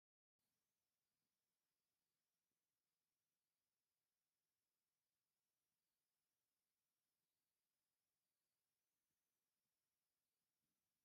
ብዃዕቲ ዝተረኸበ ታሪካዊ ቦታ እኒሆ፡፡ እዚ ቦታ ናይ ቆርቆሮ መፅለሊ ክዳን ይግበረሉ እዩ፡፡ እዚ ዝግበረሉ ምኽንያት ካብ ምንታይ ዝነቐለ እዩ?